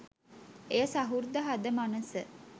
එය සහෘද හද මනස